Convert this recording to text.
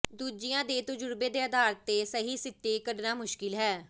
ਦੂਜਿਆਂ ਦੇ ਤਜ਼ੁਰਬੇ ਦੇ ਆਧਾਰ ਤੇ ਸਹੀ ਸਿੱਟੇ ਕੱਢਣਾ ਮੁਸ਼ਕਿਲ ਹੈ